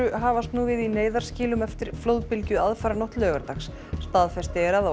hafast nú við í neyðarskýlum eftir flóðbylgju aðfaranótt laugardags staðfest er að á